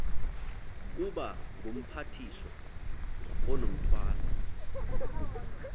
kuba ngumphathiswa onomthwalo